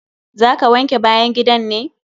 Za ka wanke bayan gidan ne?